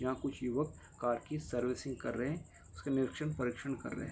यहाँ कुछ युवक कार की सर्विसिंग कर रहे हैं | उसका निरिक्षण परीक्षण कर रहे हैं |